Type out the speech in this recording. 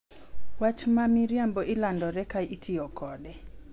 Wach ma miriambo ilandore ka itiyo kode,